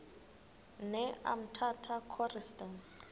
ne umtata choristers